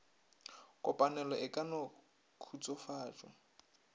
kopanelo e ka no khutsofatša